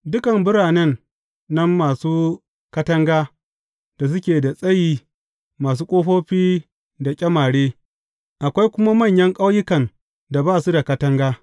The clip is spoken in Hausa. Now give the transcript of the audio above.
Dukan biranen nan masu katanga da suke da tsayi masu ƙofofi da ƙyamare, akwai kuma manya ƙauyukan da ba su da katanga.